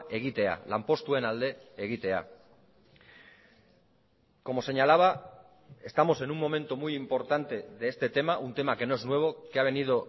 egitea lanpostuen alde egitea como señalaba estamos en un momento muy importante de este tema un tema que no es nuevo que ha venido